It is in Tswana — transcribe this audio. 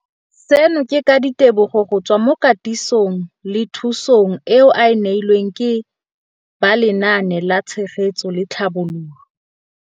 Seno ke ka ditebogo go tswa mo katisong le thu song eo a e neilweng ke ba Lenaane la Tshegetso le Tlhabololo ya